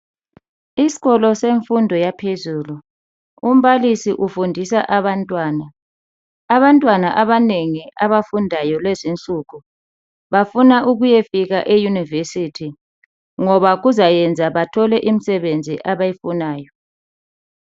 Isikolo semfundo yaphezulu .Umbalisi ufundisa abantwana .Abantwana abanengi abafundayo lezinsuku bafuna ukuye fika e university ngoba kuzayenza bathole imsebenzi abayifunayo .